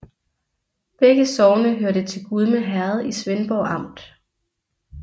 Begge sogne hørte til Gudme Herred i Svendborg Amt